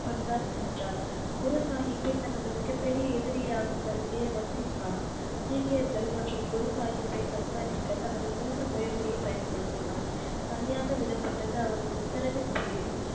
பஞ்சாப் சென்றார் குரு சாகிப்பை தனது மிக பெரிய எதிரியாக கருதிய வசிப் கான் சீக்கியர்கள் மற்றும் குரு சாகிப்பை கண்காணிக்க தனது சிறந்த முயற்ச்சியை பயன்படுத்தினார் தனியாக விடப்பட்டது அவரது உத்தரவின் பேரில்